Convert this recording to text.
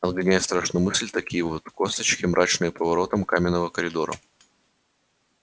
отгоняя страшную мысль такие вот косточки мрачным поворотам каменного коридора